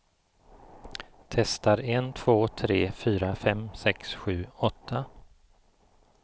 Testar en två tre fyra fem sex sju åtta.